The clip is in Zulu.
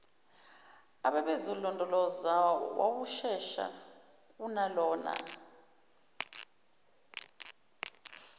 ababezolondoloza wawushesha kunalona